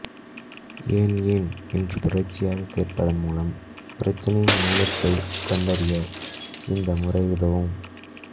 ஏன் ஏன் என்று தொடர்ச்சியாக கேட்பதன் மூலம் பிரச்சினையின் மூலத்தை கண்டறிய இந்த முறை உதவும்